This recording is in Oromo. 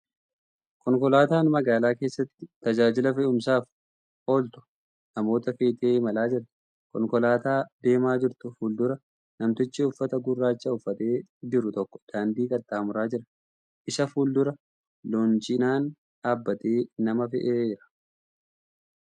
Konkolaataan magaalaa keesstti tajaajila fe`umsaaf ooltu namoota feetee imalaa jirti . Konkolaataa deemaaa jirtu fuuldura namtichi uffata gurraacha uffatee jiru tokko daandii qaxxaamuraa jira. Isa fuuldura loonchiinaan dhaabbatee nama fe'aara.